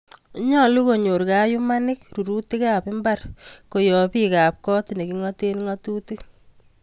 Nyolu konyor kayuumaanik ruruutikaab mbaar koyob biikaabkot ne king�ateen ng�atutik